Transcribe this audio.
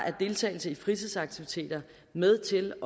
er deltagelse i fritidsaktiviteter med til